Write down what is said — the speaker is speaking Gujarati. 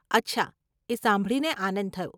અચ્છા, એ સાંભળીને આનંદ થયો.